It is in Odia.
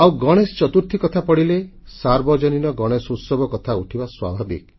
ଆଉ ଗଣେଶ ଚତୁର୍ଥୀ କଥା ପଡ଼ିଲେ ସାର୍ବଜନୀନ ଗଣେଶୋତ୍ସବ କଥା ଉଠିବା ସ୍ୱାଭାବିକ